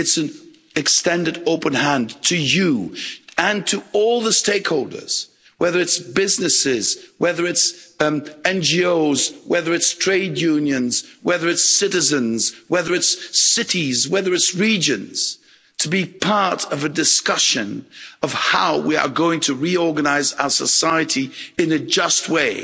It's an extended open hand to you and to all the stakeholders, whether it's businesses, whether it's NGOs, whether it's trade unions, whether it's citizens, whether it's cities, whether it's regions, to be part of a discussion of how we are going to reorganise our society in a just way